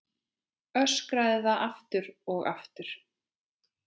Öskraði það aftur og aftur.